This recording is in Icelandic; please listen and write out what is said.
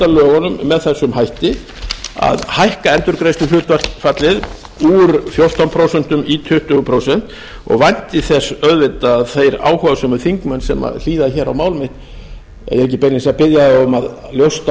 lögunum með þessum hætti að hækka endurgreiðsluhlutfallið úr fjórtán prósent í tuttugu prósent og vænti þess auðvitað að þeir áhugasömu þingmenn sem hlýða hér á mál mitt ég er ekki beinlínis að biðja þá um að ljósta